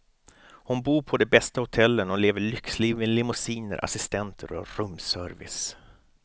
Hon bor på de bästa hotellen och lever lyxliv med limousiner, assistenter och rumsservice.